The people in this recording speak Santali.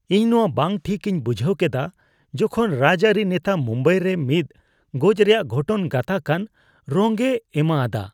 ᱤᱧ ᱱᱚᱣᱟ ᱵᱟᱝ ᱴᱷᱤᱠ ᱤᱧ ᱵᱩᱡᱷᱟᱹᱣ ᱠᱮᱫᱟ ᱡᱚᱠᱷᱚᱱ ᱨᱟᱡᱽᱟᱹᱨᱤ ᱱᱮᱛᱟ ᱢᱩᱢᱵᱟᱭ ᱨᱮ ᱢᱤᱫ ᱜᱚᱡ ᱨᱮᱭᱟᱜ ᱜᱷᱚᱴᱚᱱ ᱜᱟᱛᱟᱠᱟᱱ ᱨᱚᱝᱼᱮ ᱮᱢᱟ ᱟᱫᱟ ᱾